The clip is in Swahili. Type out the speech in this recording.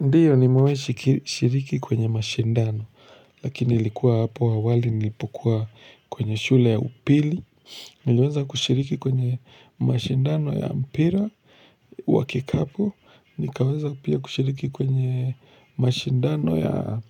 Ndio nimewahi shiriki kwenye mashindano, lakini ilikuwa hapo awali nilipokuwa kwenye shule ya upili, niliweza kushiriki kwenye mashindano ya mpira, wakikapu nikaweza pia kushiriki kwenye mashindano ya